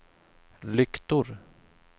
lyktor